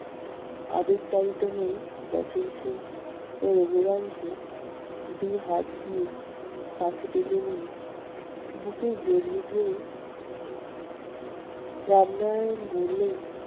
আবেগতাড়িত হয়ে বচনসুর ও রঘুরাম কে দুহাত দিয়ে কাছে টেনে নিয়ে বুকে জড়িয়ে ধরে রামনারায়ণ বললেন,